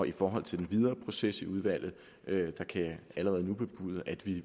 i forhold til den videre proces i udvalget kan jeg allerede nu bebude at vi